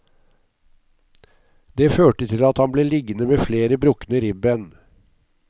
Det førte til at han ble liggende med flere brukne ribben.